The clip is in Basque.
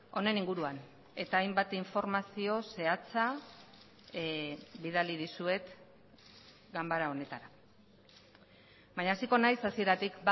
honen inguruan eta hainbat informazio zehatza bidali dizuet ganbara honetara baina hasiko naiz hasieratik